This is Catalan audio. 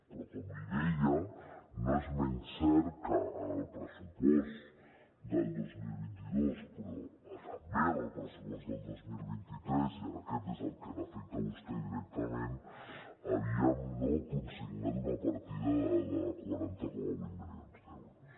però com li deia no és menys cert que en el pressupost del dos mil vint dos però també en el pressupost del dos mil vint tres i ara aquest és el que l’afecta a vostè directament havíem consignat una partida de quaranta coma vuit milions d’euros